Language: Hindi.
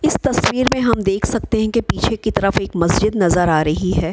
इस तस्वीर में हम देख सकते है की पीछे की तरफ एक मस्जिद नजर आ रही है।